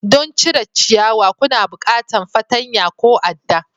Don cire ciyawa kuna bukantan fartanya ko a'da.